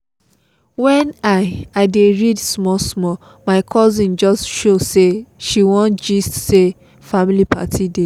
when i i dey read small small my cousin just show say she wan gist say family party dey